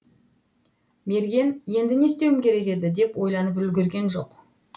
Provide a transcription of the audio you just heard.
мерген енді не істеуім керек еді деп ойланып үлгірген жоқ